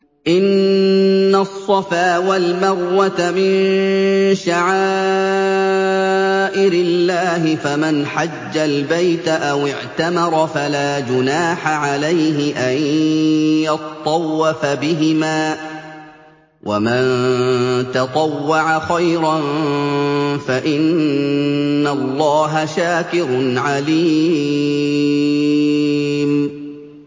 ۞ إِنَّ الصَّفَا وَالْمَرْوَةَ مِن شَعَائِرِ اللَّهِ ۖ فَمَنْ حَجَّ الْبَيْتَ أَوِ اعْتَمَرَ فَلَا جُنَاحَ عَلَيْهِ أَن يَطَّوَّفَ بِهِمَا ۚ وَمَن تَطَوَّعَ خَيْرًا فَإِنَّ اللَّهَ شَاكِرٌ عَلِيمٌ